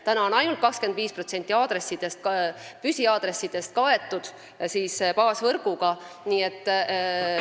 Praegu on ainult 25% püsiaadressidest baasvõrguga kaetud.